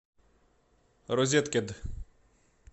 розеткед